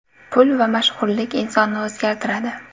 Pul va mashhurlik insonni o‘zgartiradi.